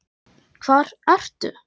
Hvar ertu?